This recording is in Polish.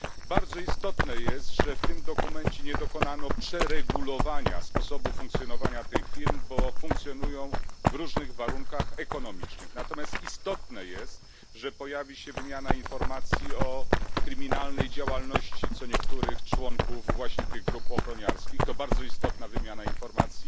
Bardzo istotne jest, że w tym dokumencie nie dokonano przeregulowania sposobu funkcjonowania tych firm, bo funkcjonują one w różnych warunkach ekonomicznych. Ważne jest natomiast, że pojawi się wymiana informacji o kryminalnej działalności co niektórych członków grup ochroniarskich oraz